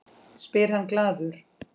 spyr hann glaður.